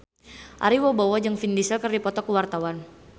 Ari Wibowo jeung Vin Diesel keur dipoto ku wartawan